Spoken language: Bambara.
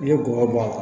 N'i ye bɔgɔ bɔn a la